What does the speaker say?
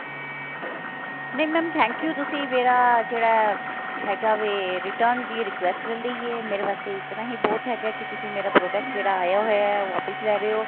ਨਹੀਂ mam thank you ਤੁਸੀਂ ਮੇਰਾ ਜਿਹੜਾ ਹੈਗਾ ਵੇ return ਦੀ request ਲੈ ਲਈ ਹੈ ਮੇਰੇ ਵਾਸਤੇ ਇਤਨਾ ਹੀ ਬਹੁਤ ਹੈਗਾ ਕੀ ਤੁਸੀਂ ਮੇਰਾ product ਜਿਹੜਾ ਆਇਆ ਹੋਇਆ ਹੈ ਉਹ ਵਾਪਿਸ ਲੈ ਰਹੇ ਹੋ